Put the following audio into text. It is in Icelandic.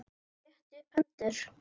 Hún rétti upp hendur.